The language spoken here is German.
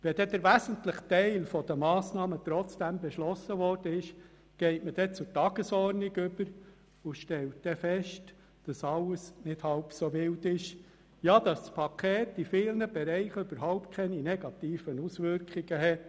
Wenn dann der wesentliche Teil der Massnahmen trotzdem beschlossen worden ist, geht man zur Tagesordnung über und stellt fest, dass alles gar nicht halb so wild ist und das Paket in vielen Bereichen überhaupt keine negativen Auswirkungen hat.